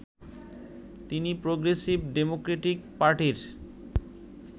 তিনি progressive democratic পার্টির